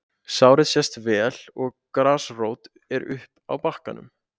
Sárið sést vel og grasrót er uppi á bakkanum.